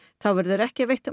þá verður ekki veitt